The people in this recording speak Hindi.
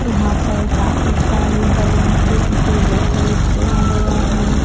यहां पर काफी सारे बलून से इसे डेकोरेट किया गया है।